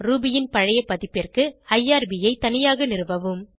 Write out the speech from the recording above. Ruby ன் பழைய பதிப்பிற்கு ஐஆர்பி ஐ தனியாக நிறுவவும்